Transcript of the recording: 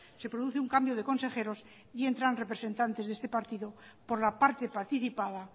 se produce un cambio de consejeros y entran representantes de este partido por la parte participada